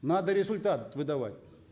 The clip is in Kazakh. надо результат выдавать